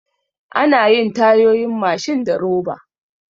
Anayin Tayoyin Mashin da roba